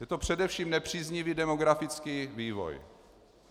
Je to především nepříznivý demografický vývoj.